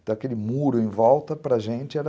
Então, aquele muro em volta, para a gente, era...